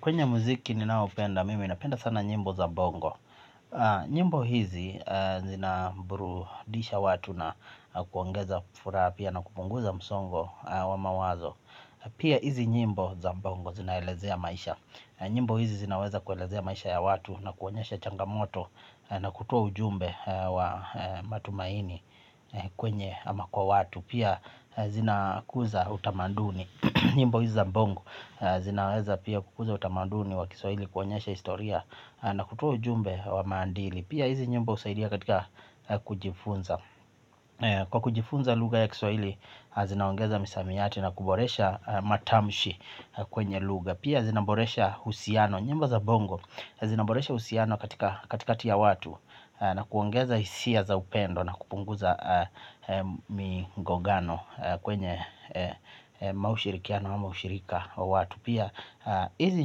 Kwenye muziki ninaopenda, mimi napenda sana nyimbo za bongo. Nyimbo hizi zinaburudisha watu na kuongeza furaha pia na kupunguza msongo wa mawazo. Pia hizi nyimbo za bongo zinaelezea maisha. Nyimbo hizi zinaweza kuelezea maisha ya watu na kuonyesha changamoto na kutoa ujumbe wa matumaini kwenye ama kwa watu. Pia zinakuza utamaduni. Nyimbo hizi za bongo zinaweza pia kukuza utamaduni wa kiswaili kuonyesha historia na kutua ujumbe wa maadili. Pia hizi nyimbo husaidia katika kujifunza. Kwa kujifunza lugha ya kiswaili zinaongeza misamiati na kuboresha matamshi kwenye lugha. Pia zinaboresha uhusiano. Nyimbo za bongo zinaboresha uhusiano katika katikati ya watu na kuongeza hisia za upendo na kupunguza migongano kwenye ama ushirikiano ama ushirika wa watu pia hizi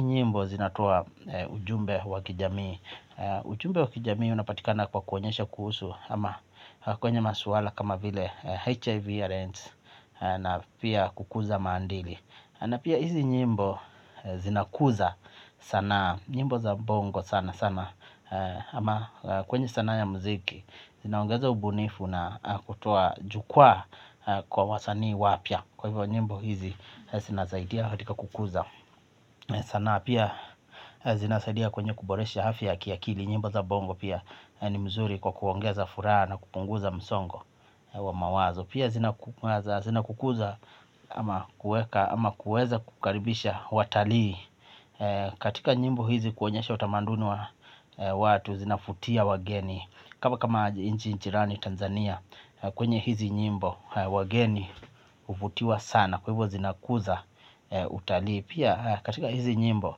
nyimbo zinatoa ujumbe wa kijamii. Ujumbe wa kijami unapatikana kwa kuonyesha kuhusu ama kwenye maswala kama vile HIV and AIDS na pia kukuza maadili na pia hizi nyimbo zinakuza sanaa. Nyimbo za bongo sana sana ama kwenye sanaa ya muziki zinaongeza ubunifu na kutoa jukwaa kwa wasanii wapya. Kwa hivyo nyimbo hizi zinasaidia katika kukuza sanaa pia zinasaidia kwenye kuboresha afya ya kiakili. Nyimbo za bongo pia ni mzuri kwa kuongeza furaha na kupunguza msongo wa mawazo. Pia zinakukuza ama kueka ama kueza kukaribisha watalii. Katika nyimbo hizi kuonyesha utamanduni wa watu zinafutia wageni. Kwa kama nchi jirani Tanzania kwenye hizi nyimbo wageni huvutiwa sana kwa hivyo zinakuza utalii pia katika hizi nyimbo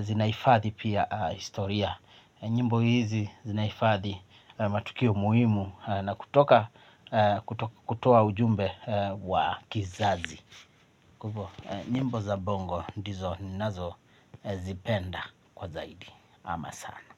zinahifadhi pia historia. Nyimbo hizi zinahifadhi matukio muhimu na kutoka kutoa ujumbe wa kizazi. Kwa hivyo nyimbo za bongo ndizo ninazozipenda kwa zaidi ama sana.